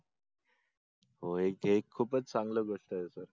हो ही एक खूपच चांगल गोष्ट आहे सर